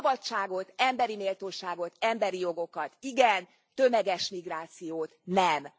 Szabadságot, emberi méltóságot, emberi jogokat igen, tömeges migrációt nem!